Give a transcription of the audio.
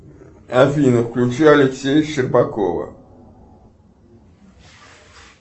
афина включи алексея щербакова